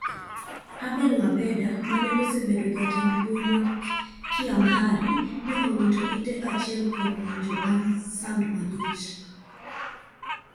Abel wabella mane osebedo jatend mbui ma Kiamhari ne owito ite achiel kuom winjo bang sand malich.